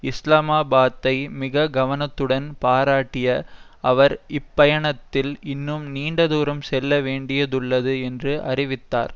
இஸ்லாமாபாத்தை மிக கவனத்துடன் பாராட்டிய அவர் இப்பயணத்தில் இன்னும் நீண்ட தூரம் செல்ல வேண்டியுள்ளது என்று அறிவித்தார்